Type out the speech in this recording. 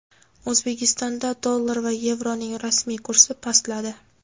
O‘zbekistonda dollar va yevroning rasmiy kursi pastladi.